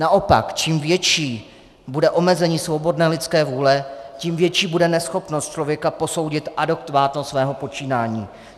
Naopak, čím větší bude omezení svobodné lidské vůle, tím větší bude neschopnost člověka posoudit adekvátnost svého počínání.